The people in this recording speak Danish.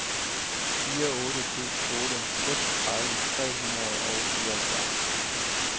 fire otte to otte seksogtredive tre hundrede og fireoghalvfjerds